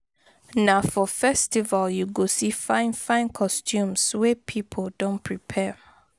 Na for festival you go see fine fine costumes wey pipo don prepare